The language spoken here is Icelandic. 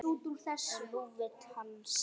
Og nú vill hann semja!